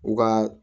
U ka